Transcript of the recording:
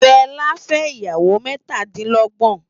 Fela fè iyáwô mètá di lògbòn